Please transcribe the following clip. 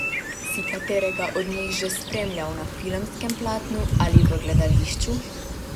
Si katerega od njih že spremljal na filmskem platnu ali v gledališču?